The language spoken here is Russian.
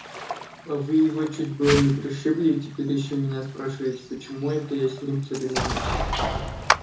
а вы его чуть было не пришибли и теперь ещё меня спрашиваете почему это я с ним церемонюсь